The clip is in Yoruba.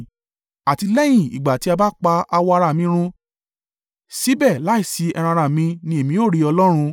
àti lẹ́yìn ìgbà tí a pa àwọ̀ ara mi run, síbẹ̀ láìsí ẹran-ara mi ni èmi ó rí Ọlọ́run,